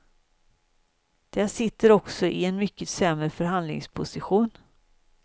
De sitter också i en mycket sämre förhandlingsposition.